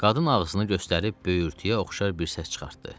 Qadın ağzını göstərib böyürtüyə oxşar bir səs çıxartdı.